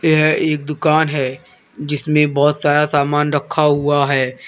यह एक दुकान है जिसमें बहुत सारा सामान रखा हुआ है।